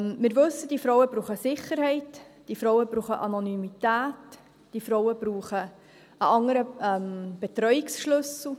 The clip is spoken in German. Wir wissen, diese Frauen brauchen Sicherheit, diese Frauen brauchen Anonymität, diese Frauen brauchen einen anderen Betreuungsschlüssel.